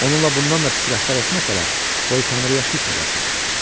Onunla bundan da pis rəftar etməsələr, qoy Tanrıya şükr eləsin.